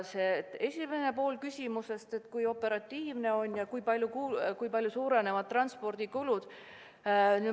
Nüüd esimene pool küsimusest, kui operatiivne see töökorraldus on ja kui palju suurenevad transpordikulud.